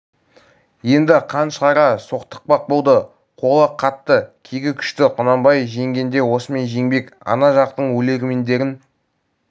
енді қан шығара соқтықпақ болды қолы қатты кегі күшті құнанбай жеңгенде осымен жеңбек ана жақтың өлермендерін